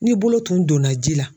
Ni bolo tun donna ji la.